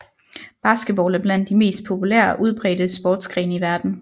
Basketball er blandt de mest populære og udbredte sportsgrene i verden